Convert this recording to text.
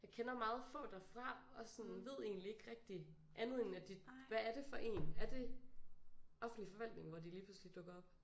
Jeg kender meget få derfra og sådan ved egentlig ikke rigtig andet end at de hvad er det for én er det offentlig forvaltning hvor de lige pludselig dukker op